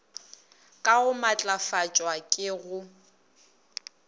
ka go matlafatšwa ke go